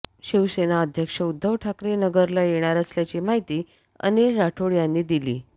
शिवसेना अध्यक्ष उध्दव ठाकरे नगरला येणार असल्याची माहिती अनिल राठोड यांनी दिली